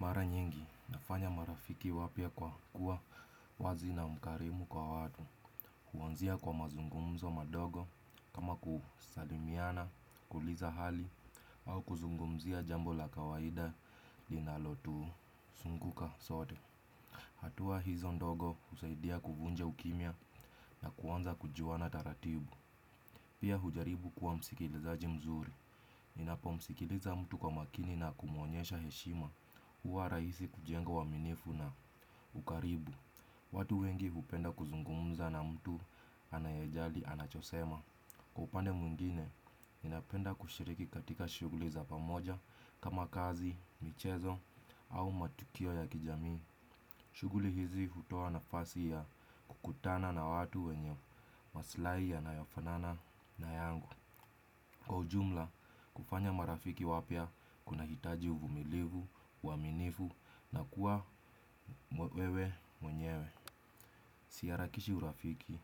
Mara nyingi nafanya marafiki wapya kwa kuwa wazi na mkarimu kwa watu. Huanzia kwa mazungumzo madogo kama kusalimiana kuuliza hali au kuzungumzia jambo la kawaida linalotuzunguka sote. Hatua hizo ndogo husaidia kuvunja ukimya na kuanza kujuana taratibu. Pia hujaribu kuwa msikilizaji mzuri ninapomsikiliza mtu kwa makini na kumuonyesha heshima huwa rahisi kujenga uaminifu na ukaribu. Watu wengi hupenda kuzungumza na mtu anayejali anachosema. Kwa upande mwingine, ninapenda kushiriki katika shughuli za pamoja kama kazi, michezo au matukio ya kijamii. Shughuli hizi hutoa nafasi ya kukutana na watu wenye maslahi yanayofanana na yangu kwa ujumla, kufanya marafiki wapya kunahitaji uvumilivu, uaminifu na kuwa wewe mwenyewe. Siharakishi urafiki